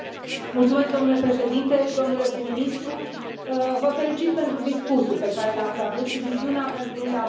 Domnule președinte, domnule prim ministru, vă felicit pentru discursul pe care l ați avut și viziunea pentru Uniunea Europeană.